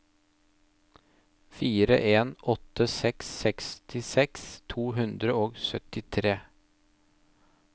fire en åtte seks sekstiseks to hundre og syttitre